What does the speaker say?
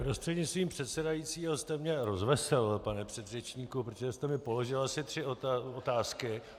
Prostřednictvím předsedajícího jste mě rozveselil, pane předřečníku, protože jste mi položil asi tři otázky.